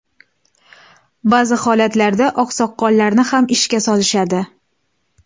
Ba’zi holatlarda oqsoqollarni ham ishga solishadi.